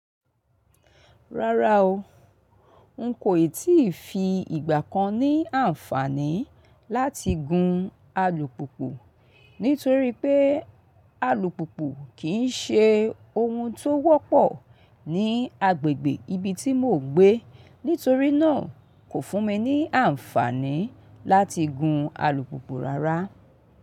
Rárá o, n kò ì tí fi ìgbà kan ní àǹfààní láti gun alùpùpù nítorí pé alùpùpù kì í ṣe ohun tó wọ́pọ̀ ní agbègbè ibi tí mò ń gbé. Nítorí náà kò fún mi ní àǹfààní láti gun alùpùpù rárá.